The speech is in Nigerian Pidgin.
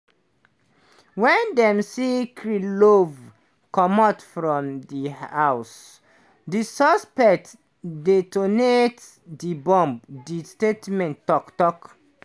wen dem see kirillov comot from di house di suspect detonate di bomb di statement tok. tok.